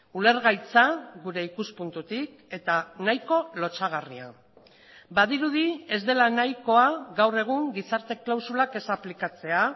ulergaitza gure ikuspuntutik eta nahiko lotsagarria badirudi ez dela nahikoa gaur egun gizarte klausulak ez aplikatzea